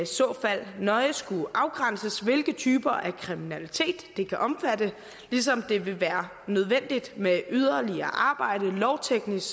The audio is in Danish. så fald nøje skulle afgrænses hvilke typer af kriminalitet det kan omfatte ligesom det vil være nødvendigt med såvel yderligere lovteknisk